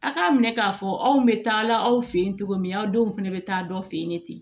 A k'a minɛ k'a fɔ anw bɛ taa la aw fɛ yen cogo min aw denw fana bɛ taa dɔ fɛ yen ten